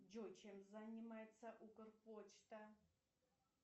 джой чем занимается укрпочта